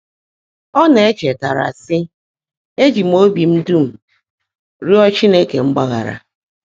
Ọ́ ná-èchetáárá, sị́: “Éjị́ m óbí m dúm rịọ́ Chínekè mgbaghárá.”